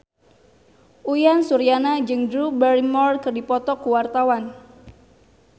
Uyan Suryana jeung Drew Barrymore keur dipoto ku wartawan